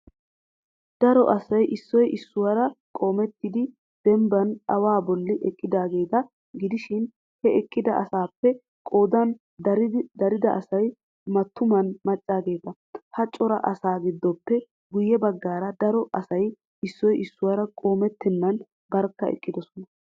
Daro asay issoy issuwara qoomettidi denbban awaa bolli eqqidaageeta gidishin ha eqqida asaappe qoodan dariga asay mattuman maccaageeta. Ha cora asaa giddoppe guyye baggaara daro asay issoy issuwara qoomettennan barkka eqqidosona.